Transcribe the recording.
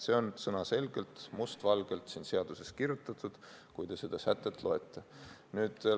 See on sõnaselgelt must valgel seadusesse kirjutatud,, kui te seda sätet loete.